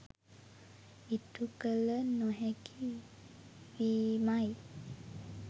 ඉටුකළ නොහැකි වීමයි.